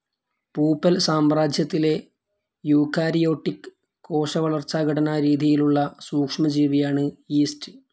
പൂപ്പൽ സാമ്രാജ്യത്തിലെ യൂക്കാരിയോട്ടിക്ക് കോശ വളർച്ചാ ഘടനാ രീതിയിലുള്ള സൂക്ഷ്മ ജീവിയാണ് യീസ്റ്റ്.